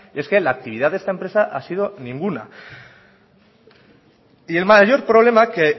es que la actividad de esta empresa ha sido ninguna y el mayor problema que